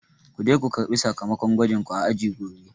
Kuje ko karɓi sakamakon gwajin ku a aji gobe